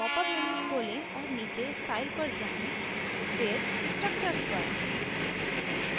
popअप menu खोलें और नीचे style पर जाएँ फिर structures पर